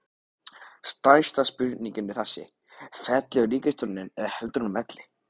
Stærsta spurningin er þessi, fellur ríkisstjórnin eða heldur hún velli?